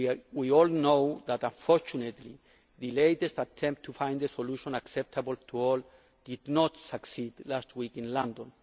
We all know that unfortunately the latest attempt to find a solution acceptable to all did not succeed last week in London.